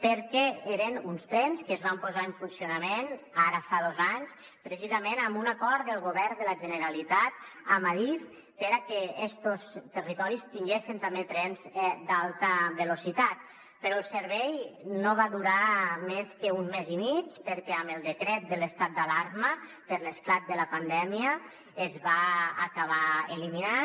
perquè eren uns trens que es van posar en funcionament ara fa dos anys precisament amb un acord del govern de la generalitat amb adif perquè estos territoris tinguessen també trens d’alta velocitat però el servei no va durar més que un mes i mig perquè amb el decret de l’estat d’alarma per l’esclat de la pandèmia es va acabar eliminant